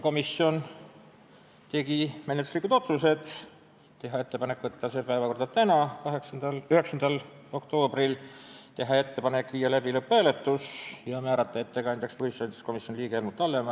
Komisjon tegi menetluslikud otsused: teha ettepanek võtta see eelnõu päevakorda tänaseks, 9. oktoobriks, teha ettepanek viia läbi lõpphääletus ja määrata ettekandjaks komisjoni liige Helmut Hallemaa.